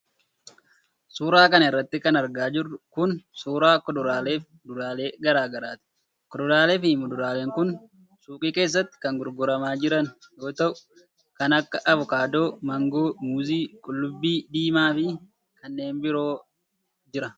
Suura kana irratti kan argaa jirru kun, suura kuduraalee fi muduraalee garaa garaati. Kuduraalee fi muduraaleen kun suuqii keessatti kan gurguramaa jiran yoo ta'u, kan akka :avokaadoo, maangoo, muuzii ,qullubbii diimaa fi kanneen biroota jira.